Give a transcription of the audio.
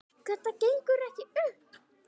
Þetta gengur ekki upp.